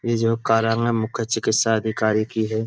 ये जो कार्यालय मुख्य चिकित्सा अधिकारी की है।